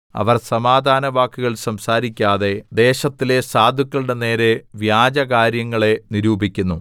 അവർ സമാധാനവാക്കുകൾ സംസാരിക്കാതെ ദേശത്തിലെ സാധുക്കളുടെ നേരെ വ്യാജകാര്യങ്ങളെ നിരൂപിക്കുന്നു